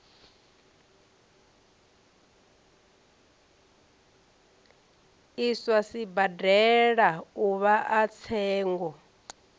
iswa sibadela uvha a tsengo